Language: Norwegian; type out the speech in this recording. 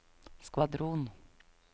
skvadron